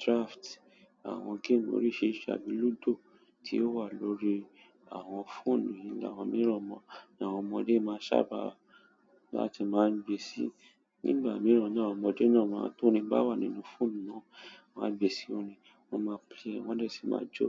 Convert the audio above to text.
dràfìtì, àwọn gẹ́èmù oríṣiríṣi àbí ludo tí o wá lórí àwọn fóònù ni àwọn miran, ní àwọn ọmọdé sábà láti máa ń gbé sì nígbà mìíràn náà àwọn ọmọdé náà máa tó rin bá wà nínú fóònù náà, wọ́n á gbé sí orin, wọ́n máa play rẹ̀, wọ́n dẹ̀ sì máa jó.